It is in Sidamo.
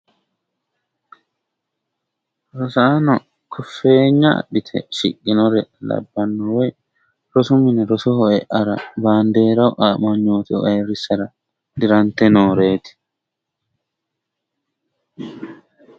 rosaano koffeenya adhite shiqinore labbanno woy rosu mine rosoho eara bandeeru amanyoote ayrisara dirante nooreeti.